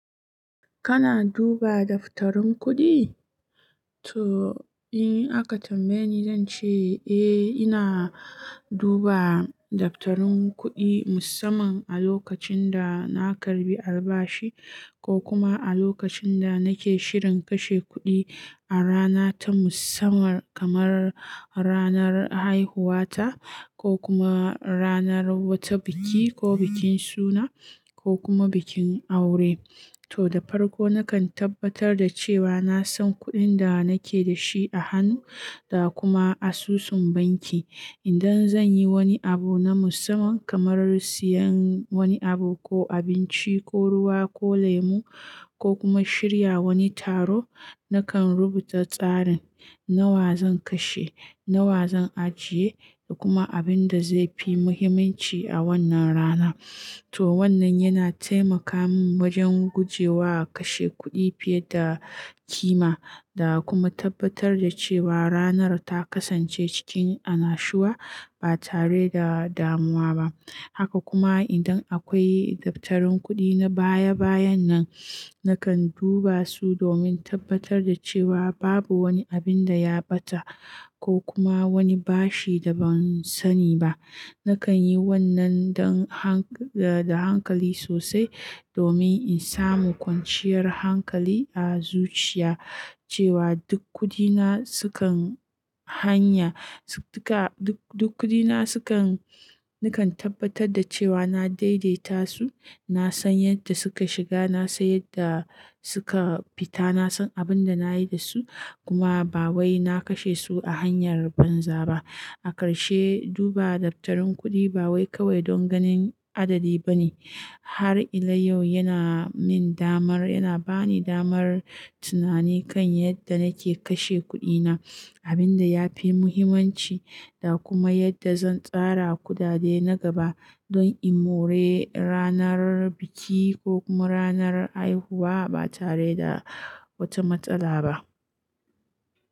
Kana duba daftarin kuɗi? To, in aka tambaye ni, zan ce eh, ina duba daftarin kuɗi musamman a lokacin da na karɓi albashi ko kuma a lokacin da nake shirin kashe kuɗi a rana ta musamman kamar ranar haihuwa ta ko kuma ranar wata biki ko bikin suna ko kuma bikin aure. To, da farko nakan tabbatar da cewa na san kuɗin da nake da shi a hannu da kuma asusun banki. Idan zan yi wani abu na musamman kamar siyan wani abu ko abinci ko ruwa ko lemu ko kuma shirya wani taro, nakan rubuta tsarin nawa zan kashe, nawa zan ajiye da kuma abin da zai fi muhimmanci a wannan rana. To, wannan yana taimaka min wajen guje wa kashe kuɗi fiye da kima da kuma tabbatar da cewa ranar ta kasance cikin annashuwa ba tare da damuwa ba. Haka kuma idan akwai daftarin kuɗi na baya-bayan nan, nakan duba su domin tabbatar da cewa babu wani abin da ya ɓata ko kuma wani bashi da ban sani ba. Nakan yi wannan da hankali sosai domin in samu kwanciyar hankali a zuciya cewa duk kuɗina sukan hanya. Duk kuɗina nakan tabbatar da cewa na daidaita su, na san yadda suka shiga, na san yadda suka fita, na san abin da na yi da su, kuma ba wai na kashe su a hanyar banza ba. A karshe, duba daftarin kuɗi ba wai kawai don ganin adadi ba ne. Har ila yau yana min damar, yana ba ni damar tunani kan yadda nake kashe kuɗina, abin da ya fi muhimmanci da kuma yadda zan tsara kudade na gaba don in more ranar biki ko kuma ranar haihuwa ba tare da wata matsala ba.